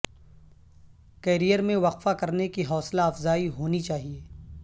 career میں وقفہ کرنے کی حوصلہ افزائی ہونی چاہیے